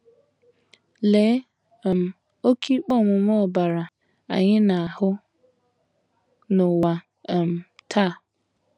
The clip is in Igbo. Lee um oké ikpe ọmụma ọbara anyị na - ahụ n’ụwa um taa!